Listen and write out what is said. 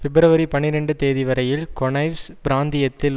பிப்ரவரி பனிரண்டுதேதிவரையில் கொனய்வ்ஸ் பிராந்தியத்தில்